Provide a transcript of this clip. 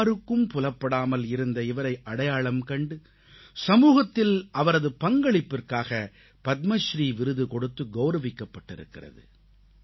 யாருக்கும் புலப்படாமல் இருந்த இவரை அடையாளம் கண்டு சமூகத்தில் அவரது பங்களிப்பிற்காக பத்மஸ்ரீ விருது கொடுத்து கௌரவிக்கப்பட்டிருக்கிறது